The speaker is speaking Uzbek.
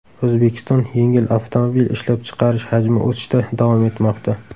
O‘zbekiston yengil avtomobil ishlab chiqarish hajmi o‘sishda davom etmoqda.